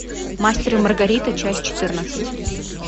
мастер и маргарита часть четырнадцать